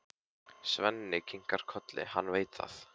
Svenni kinkar kolli, hann veit það.